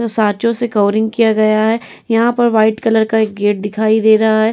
जो सांचों से कवरिंग किया गया है यहाँ पर व्हाइट कलर का एक गेट दिखाई दे रहा है।